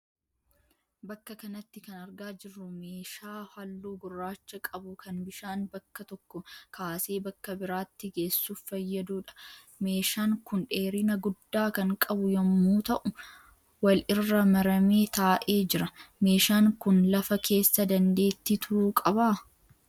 Bakka kanatti kan argaa jirru meeshaa halluu gurraacha qabu kan bishaan bakka tokko kaasee bakka biraatti geessuuf fayyaduudha. Meeshaan kun dheerina guddaa kan qabu yemmuu ta'uu wal irra maramee taa'ee jira. Meeshaan kun lafa keessa dandeetti turuu qabaa?